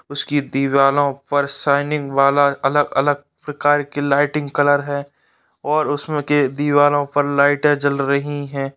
उसकी दीवालों पर शाइनिंग वाला अलग-अलग प्रकार की लाइटिंग कलर है और उसमें के दीवालों पर लाइटें जल रही है।